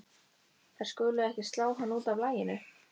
Þær skulu ekki slá hana út af laginu.